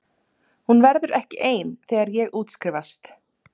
Hún verður ekki ein þegar ég útskrifast.